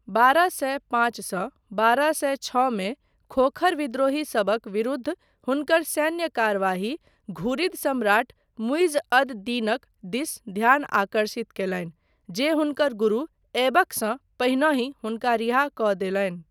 बारह सए पाँच सँ बारह सए छओ मे खोखर विद्रोहीसभक विरुद्ध हुनकर सैन्य कार्यवाही घुरिद सम्राट मुइज़ अद दीनक दिस ध्यान आकर्षित कयलनि, जे हुनकर गुरु ऐबकसँ पहिनहि हुनका रिहा कऽ देलनि।